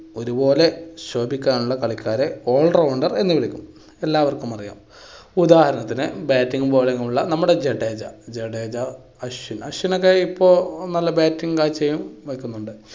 ഒരു പോലെ ശോഭിക്കാനുള്ള കളിക്കാരെ all rounder എന്ന് വിളിക്കുന്നു. എല്ലാവർക്കും അറിയാം. ഉദാഹരണത്തിന് batting bowling ഉള്ള നമ്മുടെ ജഡേജ, ജഡേജ, അശ്വിൻ, അശ്വിൻ ഒക്കെ ഇപ്പൊ നല്ല batting കാഴ്ചയും വെക്കുന്നുണ്ട്.